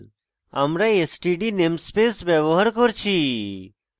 আমরা std namespace ব্যবহার করছি